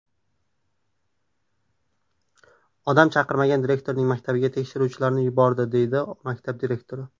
Odam chiqarmagan direktorning maktabiga tekshiruvchilarni yuboradi”, deydi maktab direktori.